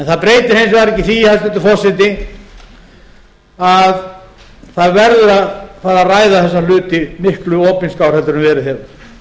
það breytir hins vegar ekki því hæstvirtur forseti að það verður að fara að ræða þessa hluti miklu opinskátt en verið